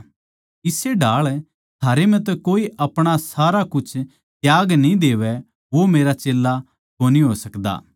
इस्से ढाळ थारै म्ह तै कोए अपणा सारा कुछ त्याग न्ही देवै वो मेरा चेल्ला कोनी हो सकदा